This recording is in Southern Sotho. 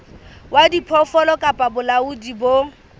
wa diphoofolo kapa bolaodi bo